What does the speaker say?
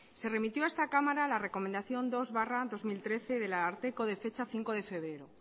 se remitió a esta cámara la recomendación dos barra dos mil trece del ararteko de fecha cinco de febrero